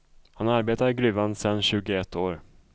Han arbetar i gruvan sedan tjugoett år.